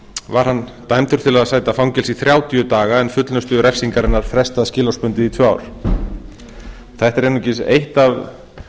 var hann dæmdur til að sæta fangelsi í þrjátíu daga en fullnustu refsingarinnar frestað skilorðsbundið í tvö ár þetta er einungis eitt af